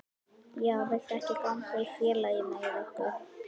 Já, viltu ekki ganga í félagið með okkur?